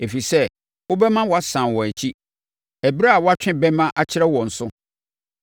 ɛfiri sɛ wobɛma wɔasane wɔn akyi ɛberɛ a woatwe bɛmma akyerɛ wɔn so.